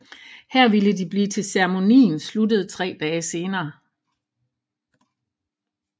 Her ville de blive til ceremonien sluttede tre dage senere